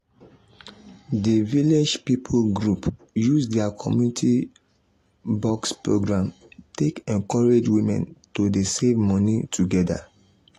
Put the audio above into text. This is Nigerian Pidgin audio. the village people group use their community um box program take encourage women to dey save money together.